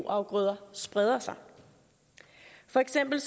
afgrøder spreder sig for eksempel